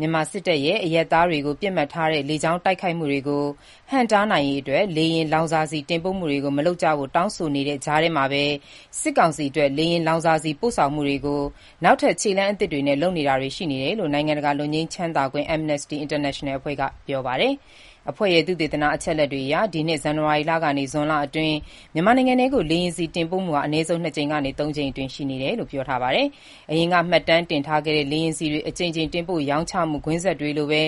မြန်မာစစ်တပ်ရဲ့ အရပ်သားတွေကို ပစ်မှတ်ထားတဲ့ လေကြောင်းတိုက်ခိုက်မှုတွေကို ဟန့်တားနိုင်ရေးအတွက် လေယာဉ်လောင်စာဆီတင်ပို့မှုတွေကို မလုပ်ကြဖို့ တောင်းဆိုနေတဲ့ ကြားမှာပဲ စစ်ကောင်စီအတွက် လေယာဉ်ဆီ ပို့ဆောင်မှုတွေကို နောက်ထပ် ခြေလှမ်းအသစ်တွေနဲ့ လုပ်တာတွေ ရှိနေတယ်လို့ နိုင်ငံတကာ လွတ်ငြိမ်းချမ်းသာခွင့် Amnesty International အဖွဲ့က ပြောပါတယ်။ အဖွဲ့ရဲ့ သုတေသန အချက်အလက်တွေအရ ဒီနှစ် ဇန္နဝါရီလကနေ ဇွန်လအတွင်း မြန်မာနိုင်ငံထဲကို လေယာဉ်ဆီ တင်ပို့မှုဟာ အနည်းဆုံး ၂ ကြိမ်ကနေ ၃ ကြိမ်အတွင်း ရှိခဲ့တယ်လို့ ဆိုပါတယ်။ အရင်က မှတ်တမ်းတင်ထားခဲ့တဲ့ လေယာဉ်ဆီတွေ အကြိမ်ကြိမ် တင်ပို့ရောင်းချမှု ကွင်းဆက်တွေလိုပဲ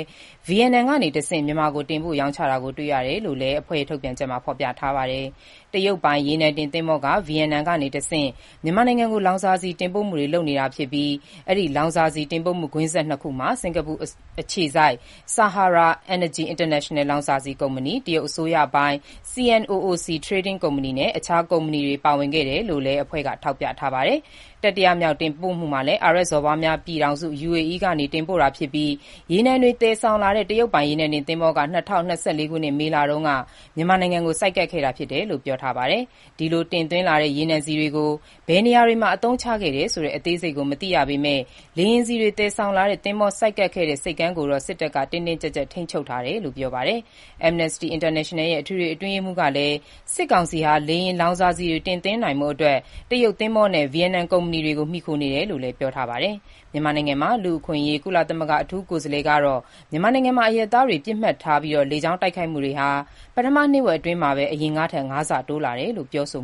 ဗီယက်နမ်ကနေတဆင့် မြန်မာကို တင်ပို့ရောင်းချတာကို တွေ့ရတယ်လို့ Amnesty International အဖွဲ့ရဲ့ ထုတ်ပြန်ချက်မှာ ဖော်ပြထားပါတယ်။ တရုတ်ပိုင် HUITONG 78 ရေနံတင်သင်္ဘောက ဗီယက်နမ်ကတဆင့် မြန်မာနိုင်ငံကို လောင်စာဆီ တင်ပို့မှုတွေ လုပ်နေတာဖြစ်ပြီး၊ ဒီလောင်စာဆီတင်ပို့မှုကွင်းဆက် နှစ်ခုမှာ စင်္ကာပူအခြေစိုက် Sahara Energy International Pte လောင်စာဆီကုမ္ပဏီ၊ တရုတ်အစိုးရပိုင် CNOOC Trading (Singapore) Pte. Ltd. ကုမ္ပဏီနဲ့ အခြားကုမ္ပဏီတွေ ပါဝင်ခဲ့တယ်လို့လည်း Amnesty International အဖွဲ့က ထောက်ပြ ထားပါတယ်။ တတိယမြောက် တင်ပို့မှုမှာလည်း အာရပ်စော်ဘွားများပြည်ထောင်စု (UAE) ကနေ တင်ပို့တာဖြစ်ပြီး ရေနံတွေသယ်ဆောင်လာတဲ့ တရုတ်ပိုင် ရေနံတင်သင်္ဘောက ၂၀၂၄ ခုနှစ် မေလတုန်းက မြန်မာနိုင်ငံကို ဆိုက်ကပ်ခဲ့တယ်လို့လည်း ဖော်ပြထားပါတယ်။ ဒီလို တင်သွင်းလာတဲ့ ရေနံဆီတွေကို ဘယ်နေရာတွေမှာ အသုံးချခဲ့တယ်ဆိုတဲ့ အသေးစိတ် မသိရသေးပေမဲ့ လေယာဉ်ဆီတွေ သယ်ဆောင်လာတဲ့ သင်္ဘောဆိုက်ကပ်ခဲ့တဲ့ ဆိပ်ကမ်းကိုတော့ စစ်တပ်က တင်းတင်းကျပ်ကျပ် ထိန်းချုပ်ထားတယ်လို့ ပြောပါတယ်။ Amnesty International ရဲ့ အထွေထွေအတွင်းရေးမှူး Agnes Callamard ကလည်း စစ်ကောင်စီဟာ လေယာဉ်လောင်စာဆီတွေ တင်သွင်းနိုင်ဖို့အတွက် တရုတ်သင်္ဘောနဲ့ ဗီယက်နမ်ကုမ္ပဏီတွေကို မှီခိုနေရတယ်လို့လည်း ပြောပါတယ်။ မြန်မာနိုင်ငံဆိုင်ရာ ကုလသမဂ္ဂ လူ့အခွင့်အရေးအထူးကိုယ်စားလှယ်ကတော့ မြန်မာနိုင်ငံမှာ အရပ်သားပစ်မှတ်တွေကို လေကြောင်းတိုက်ခိုက်မှုတွေဟာ ပထမ နှစ်ဝက်အတွင်းမှာတင် အရင်ကထက် ၅ ဆ တိုးလာတယ်လို့ ပြောဆို